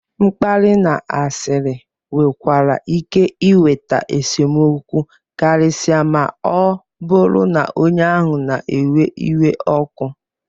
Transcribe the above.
mkparị na asịrị nwekwara ike iweta esemokwu karịsịa ma ọ bụrụ na onye ahụ na-ewe iwe ọkụ